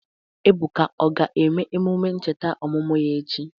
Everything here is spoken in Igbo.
Ebuka o ga-eme emume ncheta ọmụmụ ya echi?